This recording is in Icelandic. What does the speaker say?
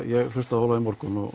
ég hlustaði á Ólaf í morgun og